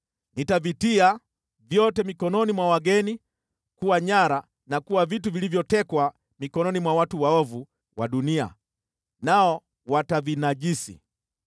Nitavitia vyote mikononi mwa wageni kuwa nyara na kuwa vitu vilivyotekwa mikononi mwa watu waovu wa dunia, nao watavinajisi.